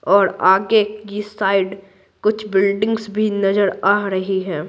और आगे की साइड कुछ बिल्डिंग्स भी नजर आ रही हैं।